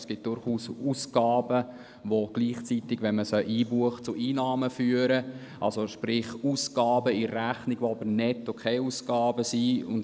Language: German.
Es gibt durchaus Ausgaben, welche beim Einbuchen gleichzeitig zu Einnahmen führen, also sprich Ausgaben, die in der Rechnung netto keinen Ausgaben sind.